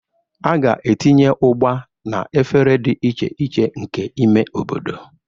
A ga-etinye Ugba na efere dị iche iche nke ime obodo.